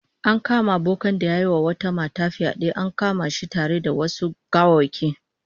An kama bokan da yayi wata mata fyade, an kama shi tare da wasu gawawwaki